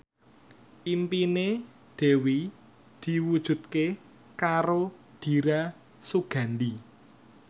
impine Dewi diwujudke karo Dira Sugandi